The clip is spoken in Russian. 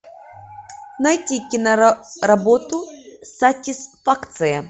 найти киноработу сатисфакция